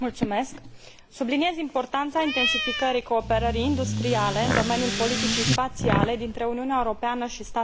Subliniez importanța intensificării cooperării industriale în domeniul politicii spațiale dintre Uniunea Europeană și statele BRICS.